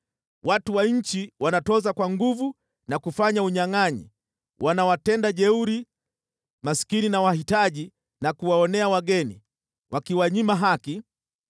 Watu wa nchi wanatoza kwa nguvu na kufanya unyangʼanyi, wanawatenda jeuri maskini na wahitaji na kuwaonea wageni, wakiwanyima haki.